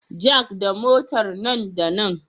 Jack da Motar nan da nan